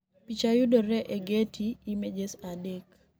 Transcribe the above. Picha yudore e Getty Images 3.